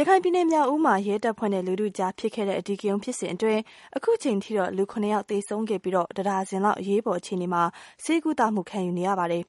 ရခိုင်ပြည်နယ် မြောက်ဦးမှာ ရဲတပ်ဖွဲ့နဲ့ လူထုကြားဖြစ်ခဲ့တဲ့ အဓိကရုဏ်းဖြစ်စဉ်အတွင်း အခုအချိန်ထိ လူ ဦး သေဆုံးခဲ့ပြီး တဒါဇင်လောက် အရေးပေါ် အခြေအနေမှာ ဆေးကုသမှု ခံယူနေရပါတယ်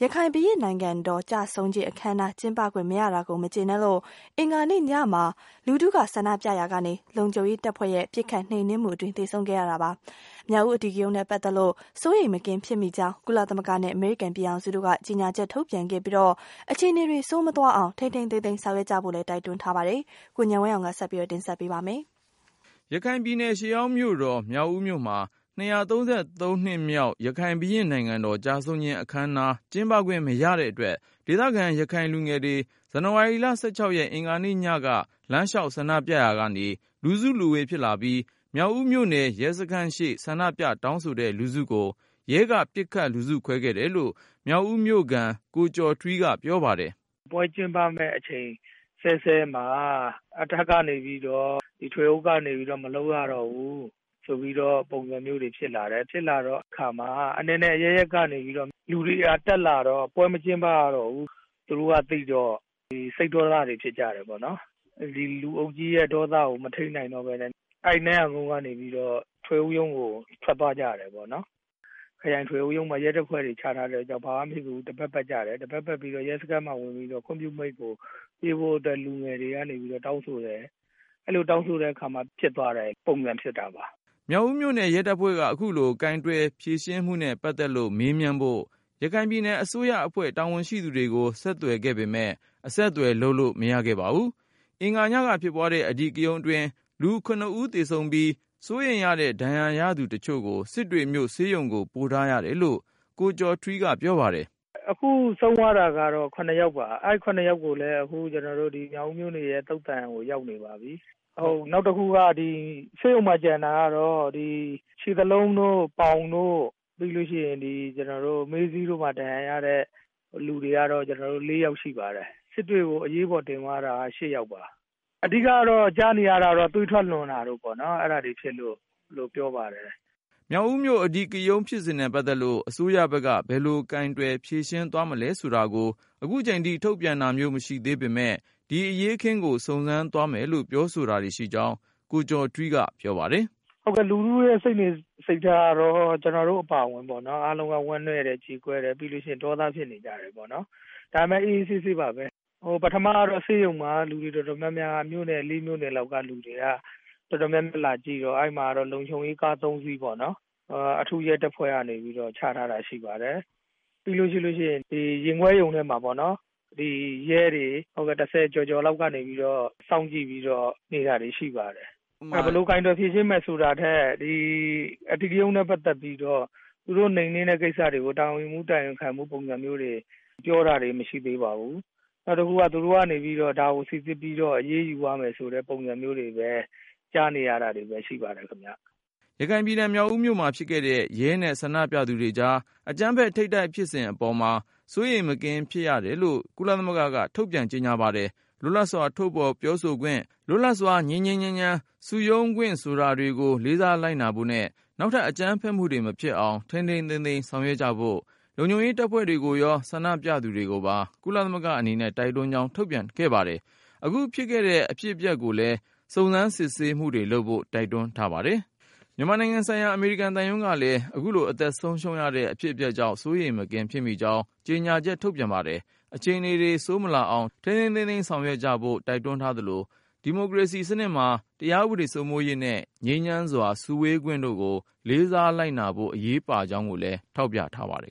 ။ ရခိုင် ဘုရင့်နိုင်ငံတော် ကျဆုံးခြင်း အခမ်းအနား ကျင်းပခွင့်မရတာကို မကြေနပ်လို့ အင်္ဂါနေ့ညမှာ လူထုကဆန္ဒပြရာက လုံခြုံရေးတပ်ဖွဲ့ရဲ့ပစ်ခတ်နှိမ်နင်းမှုအတွင်း သေဆုံးခဲ့တာပါ။ မြောက်ဦး အဓိကရုဏ်းနဲ့ ပတ်သက်လို့ စိုးရိမ် မကင်းဖြစ်မိကြောင်း ကုလသမဂ္ဂနဲ့ အမေရိကန်ပြည်ထောင်စုတို့က ကြေညာချက် ထုတ်ပြန်ခဲ့ပြီး အခြေအနေတွေ ဆိုးမသွားအောင် ထိန်းထိန်း သိမ်းသိမ်း ဆောင်ရွက်ကြဖို့ တိုက်တွန်းလိုက်ပါတယ်။ ကိုဉာဏ်ဝင်းအောင်က ဆက်ပြီး တင်ပြပါမယ်။ ရခိုင်ရှေးဟောင်းမြို့တော် မြောက်ဦးမြို့မှာ ၂၃၃ နှစ်မြောက် ရခိုင်ဘုရင့်နိုင်ငံတော် ကျဆုံးခြင်းအခမ်းအနား ကျင်းပခွင့် မရတဲ့အတွက် ဒေသခံ ရခိုင်လူငယ်တွေ ဇန်နဝါရီလ ၁၆ ရက် အင်္ဂါညက လမ်းလျှောက် ဆန္ဒပြရာကနေ လူစုလူဝေး ဖြစ်လာပြီး၊ မြောက်ဦးမြို့နယ် ရဲစခန်းရှေ့ ဆန္ဒပြ တောင်းဆိုတဲ့ လူထုကို ရဲက ပစ်ခတ်လူစုခွဲခဲ့တယ်လို့ မြောက်ဦးမြို့ခံ ကိုကျော်ထွီးက ပြောပါတယ်။ "ပွဲကျင်းပမယ့်အချိန်စဲစဲမှာ အထက်ကနေပြီးတော့ ထွေအုပ်ကနေပြီးတော့ မလုပ်ရတော့ဘူး ဆိုပြီးတော့ ပုံစံမျိုးတွေဖြစ်လာတယ်။ ဖြစ်လာတဲ့အခါမှာ အနယ်နယ်အရပ်ရပ်ကနေပြီးတော့ လူတွေက တက်လာတော့ ပွဲမကျင်းပရတော့ဘူးဆိုတာ သူတို့ကသိတော့ စိတ်ဒေါသတွေဖြစ်ကြတယ်။ ဒီလူအုပ်ကြီးရဲ့ ဒေါသကို မထိန်းနိုင်တော့ပဲနဲ့ အဲဒီကနေပြီးတော့ ထွေအုပ်ရုံးကို ထွက်သွားကြတယ်ပေါ့နော်။ ခရိုင်ထွေအုပ်ရုံးမှာ ရဲတပ်ဖွဲ့တွေချထားတော့ ဘာမှမဖြစ်ဘူး တပတ်ပတ်ကြတယ်၊ တပတ်ပတ်ပြီးတော့ ရဲစခန်းမှာဝင်ပြီးတော့ ခွင့်ပြုမိန့်ကို ပေးဖို့အတွက် လူငယ်တွေကနေပြီးတော့ တောင်းဆိုတယ်။ အဲလိုတောင်းဆိုတဲ့အခါမှာ ဖြစ်သွားတဲ့ ပုံစံဖြစ်တာပါ။" မြောက်ဦးမြို့နယ် ရဲတပ်ဖွဲ့က အခုလို ကိုင်တွယ်ဖြေရှင်းမှုနဲ့ ပတ်သက်လို့ မေးမြန်းဖို့ ရခိုင်ပြည်နယ်အစိုးရအဖွဲ့ တာဝန်ရှိသူတွေကို ဆက်သွယ် ပေမဲ့ အဆက်သွယ်လုပ်လို့ မရခဲ့ပါဘူး။ အင်္ဂါညက ဖြစ်ပွားတဲ့ အဓိကရုဏ်အတွင်း လူ ဦး သေဆုံးပြီး ၊ စိုးရိမ်ရတဲ့ ဒဏ်ရာရသူတချို့ကို စစ်တွေမြို့ ဆေးရုံကို ပို့ထားရတယ်လို့ ကိုကျော်ထွီးက ပြောပါတယ်။ "အခုဆုံးသွားတာကတော့ ၇ ယောက်ပါ။ အဲဒီ၇ ယောက်ကိုလည်း မြောက်ဦးမြို့နယ်ရဲ့ သုသာန် ကိုရောက်နေပါပြီ။ နောက်တဦးကတော့ ဆေးရုံမှာကျန်တာက ခြေသလုံးတို့၊ ပေါင်တို့ ပြီးလို့ရှိရင် ဒီ မေးစေ့မှာ ဒဏ်ရာရတဲ့လူ ၄ ယောက်ရှိပါတယ်။ စစ်တွေကို အရေးပေါ်တင်သွားတာက ၈ ယောက်ပါ။ အဓိက ကြားနေရတာတော့ သွေးထွက်လွန်တာ တို့ဖြစ်လို့ ပြောပါတယ်။" မြောက်ဦးမြို့ အဓိကရုဏ်းဖြစ်စဉ်နဲ့ ပတ်သက်လို့ အစိုးရဘက်က ဘယ်လို ကိုင်တွင်ဖြေရှင်း သွားမလဲဆိုတာကို ထုတ်ပြန်တာမျိုး မရှိသေး ပေမယ့် ဒီအရေးအခင်းကို စုံစမ်းသွားမယ်လို့ ပြောဆိုတာရှိကြောင်း ကိုကျော်ထွီးက ပြောပါတယ်။ "ဟုတ်ကဲ့ လူထုစိတ်နေစိတ်ထားကတော့ ကျနော်တို့အပါအဝင် ဝမ်းနည်းတယ်၊ ကြေကွဲတယ် ပြီးရင် ဒေါသဖြစ်နေကြတယ်ပေါ့နော်။ ဒါပေမယ့် အေးအေးဆေးဆေးပါပဲ။ ပထမကတော့ ဆေးရုံ မှာ လူတွေတော်တော်များများ မြို့နယ် ၄ မြို့နယ်လောက်ကလူတွေက တော်တော်များများလာကြည့်တော့ အဲဒီမှာ လုံခြုံရေးကား ၃ စီးပေါ့နော် အထူးရဲတပ်ဖွဲ့ ကနေပြီးတော့ ချထားတာရှိပါတယ်။ ပြီးရင် ရင်ခွဲရုံထဲမှာပေါ့နော် ရဲတွေ ၁၀ ကျော်ကျော်လောက်ကနေပြီးတော့ စောင့်ကြည့်နေတာတွေရှိတယ်။ ဘယ်လို ကိုင်တွယ်ဖြေရှင်းမယ်ဆိုတာထက် အဓိကရုဏ်းနဲ့ ပတ်သက်ပြီးတော့ သူတို့ နိမ်နင်းတဲ့ ကိစ္စတွေကို တာဝန်ယူမှု တာဝန်ခံမှု ပုံစံမျိုးတွေ ပြောတာတွေ မရှိသေးပါဘူး။ နောက်တခုက သူတို့ကနေပြီးတော့ ဒါကို စိစစ်ပြီးတော့ အရေးယူသွားမယ်ဆိုတဲ့ ပုံစံမျိုးတွေပဲ ကြားနေရတာတွေပဲ ရှိပါတယ်ခင်ဗျ။" ရခိုင်ပြည်နယ် မြောက်ဦးမြို့မှာဖြစ်ခဲ့တဲ့ ရဲနဲ့ ဆန္ဒပြသူတွေကြား အကြမ်းဖက်ထိပ်တိုက်ဖြစ်မှုအပေါ်မှာ စိုးရိမ်မကင်းဖြစ်တယ်လို့ ကုလသမဂ္ဂက ထုတ်ပြန်ပါတယ်။ လွတ်လပ်စွာ ထုတ်ဖော်ပြောဆိုခွင့်၊ လွတ်လပ်စွာ ငြိမ်းငြိမ်းချမ်းချမ်း စုရုံးခွင့်ဆိုတာတွေကို လေးစားလိုက်နာဖို့နဲ့ နောက်ထပ် အကြမ်းဖက်မှုတွေ မဖြစ်အောင် ထိမ်းထိမ်းသိမ်းသိမ်း ဆောင်ရွက်ကြဖို့ ၊ လုံခြုံရေး တပ်ဖွဲ့တွေကိုရော ဆန္ဒပြသူတွေကိုပါ ကုလသမဂ္ဂအနေနဲ့ တိုက်တွန်းကြောင်း ထုတ်ပြန်ပါတယ်။ အခုဖြစ်ခဲ့တဲ့ အဖြစ်အပျက်ကိုလည်း စုံစမ်း စစ်ဆေးမှုတွေလုပ်ဖို့ တိုက်တွန်း ထားပါတယ်။ မြန်မာနိုင်ငံဆိုင်ရာ အမေရိကန်သံရုံးကလည်း အခုလို အသက်ဆုံးရှုံးခဲ့ရတဲ့ အဖြစ်အပျက်ကြောင့် စိုးရိမ်မကင်းဖြစ်မိကြောင်း ကြေညာချက် ထုတ်ပြန် ပါတယ်။ အခြေအနေတွေ ဆိုးမလာအောင် ထိန်းထိန်းသိမ်းသိမ်း ဆောင်ရွက်ကြဖို့ တိုက်တွန်းသလို၊ ဒီမိုကရေစီစနစ်မှာ တရား ဥပဒေ စိုးမိုးရေးနဲ့ ငြိမ်းချမ်းစွာ စုဝေးခွင့်တို့ကို လေးစားလိုက်နာဖို့ အရေးပါကြောင်းကိုလည်း ထောက်ပြ ထားပါတယ်